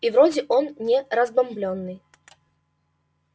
и вроде он не разбомблённый